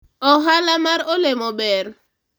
ohala mar olemo ber